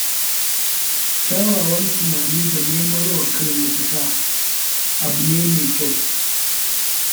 Kyakkyawan tunani da nemarwa kai mafita abu ne mai kyau.